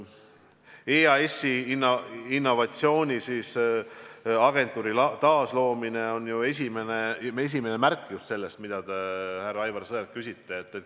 EAS-i innovatsiooni agentuuri taasloomine on ju esimene märk sellest, mille kohta te, härra Aivar Sõerd, küsisite.